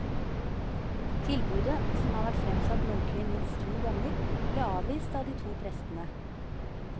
Tilbudet, som har vært fremsatt muntlig minst to ganger, ble avvist av de to prestene.